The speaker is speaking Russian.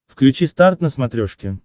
включи старт на смотрешке